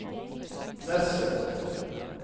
Nesset